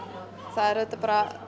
það er auðvitað